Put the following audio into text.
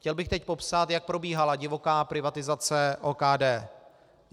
Chtěl bych teď popsat, jak probíhala divoká privatizace OKD.